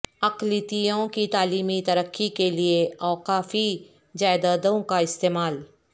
اقلیتوں کی تعلیمی ترقی کیلئے اوقافی جائیدادوں کا استعمال